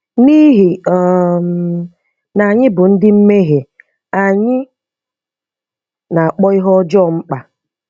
N'ihi um na anyị bụ ndị mmehie, anyị na-akpọ ihe ọjọọ mkpa.